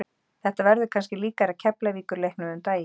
Þetta verður kannski líkara Keflavíkur leiknum um daginn.